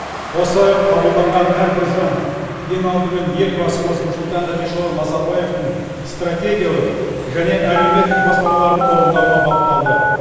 осы қабылданған әрбір заң ең алдымен елбасымыз нұрсұлтан әбішұлы назарбаевтың стратегиялық және әлеуметтік бастамаларын орындауға бағытталды